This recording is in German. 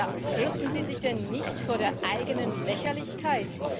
Ja fürchten Sie sich denn nicht vor der eigenen Lächerlichkeit?